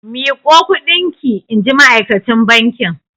Miƙo kuɗin ki! inji ma'akacin bankin.